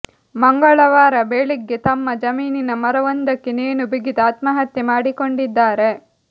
ಮಂಗಳವಾರ ಬೆಳಿಗ್ಗೆ ತಮ್ಮ ಜಮೀನಿನ ಮರವೊಂದಕ್ಕೆ ನೇಣು ಬಿಗಿದು ಆತ್ಮಹತ್ಯೆ ಮಾಡಿಕೊಂಡಿದ್ದಾರೆ